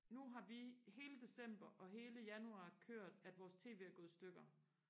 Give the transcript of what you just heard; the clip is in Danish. nu har vi hele december og hele januar kørt at vores tv er gået i stykker